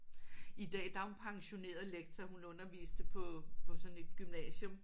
I dag der er hun pensioneret lektor hun underviste på på sådan et gymnasium